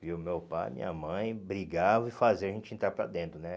Viu, meu pai, minha mãe brigavam e faziam a gente entrar para dentro, né?